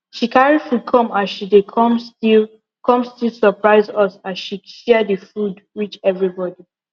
she carry food come as she dey come still come still surpise us as she share the food reach everybody